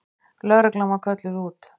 Lögreglan var kölluð út.